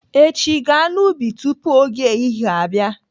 Echi, gaa n'ubi tupu oge ehihie abịa!